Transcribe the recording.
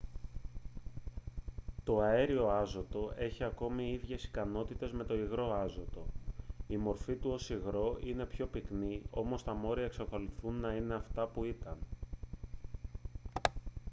το αέριο άζωτο έχει ακόμη ίδιες ικανότητες με το υγρό άζωτο η μορφή του ως υγρό είναι πιο πυκνή όμως τα μόρια εξακολουθούν να είναι αυτά που ήταν